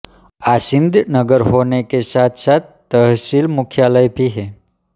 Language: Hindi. आसीन्द नगर होने के साथसाथ तहसील मुख्यालय भी है